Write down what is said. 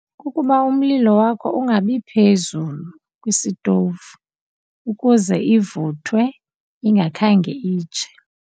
Kukuba umlilo wakho ungabi phezulu kwisitowuvu ukuze ivuthwe ingakhange itshe.